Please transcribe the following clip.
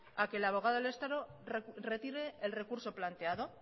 a que el abogado del estado retire el recurso planteado